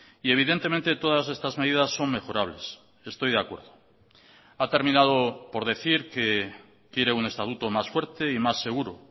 y evidentemente todas estas medidas son mejorables estoy de acuerdo ha terminado por decir que quiere un estatuto más fuerte y más seguro